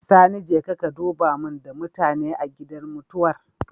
Sani jeka ka duba mun da mutane a gidan mutuwar